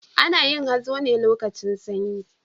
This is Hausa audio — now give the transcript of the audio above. Ana yin hazo ne lokacin sanyi.